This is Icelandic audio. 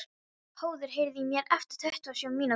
Höður, heyrðu í mér eftir tuttugu og sjö mínútur.